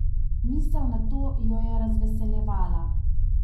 Misel na to jo je razveseljevala.